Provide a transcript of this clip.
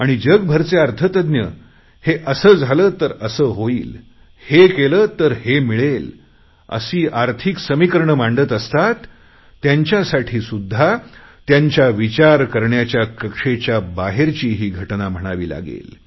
आणि जगभरचे अर्थतज्ञ जे असे झाले तर असे होईल हे केले तर ते मिळेल अशी आर्थिक समीकरणे मांडत असतात त्यांच्यासाठी सुद्धा त्यांच्या विचार करण्याच्या कक्षेच्या बाहेरची ही घटना म्हणावी लागेल